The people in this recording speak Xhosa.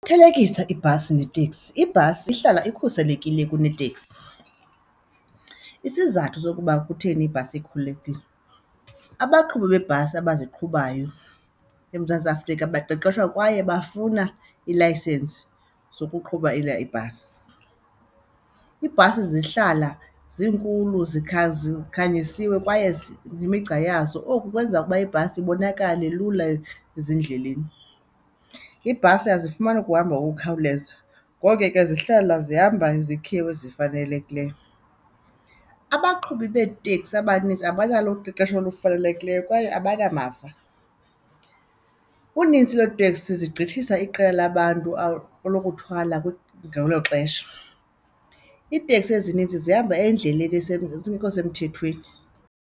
Thelekisa ibhasi neeteksi, ibhasi ihlala ikhuselekile kuneteksi. Isizathu sokuba kutheni ibhasi ikhululekile, abaqhubi beebhasi abaziqhubayo eMzantsi Afrika baqeqeshwa kwaye bafuna ilayisensi zokuqhuba ibhasi. Iibhasi zihlala zinkulu zikhanyisiwe kwaye nemigca yazo, oku kwenza ukuba ibhasi ibonakale lula ezindleleni. Iibhasi azifumani ukuhamba ngokukhawuleza. Ngoko ke zihlala zihamba izikhewu ezifanelekileyo. Abaqhubi beeteksi abanintsi abanalo uqeqesho olufanelekileyo kwaye abanamava. Unintsi lweeteksi zigqithisa iqela labantu lokuthwala ngelo xesha. Iiteksi ezininzi zihamba endleleni zingekho semthethweni.